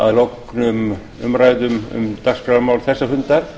að loknum umræðum um dagskrármál þessa fundar